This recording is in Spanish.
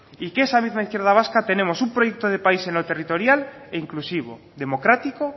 y que esa misma izquierda vasca tenemos un proyecto de país en lo territorial e inclusivo democrático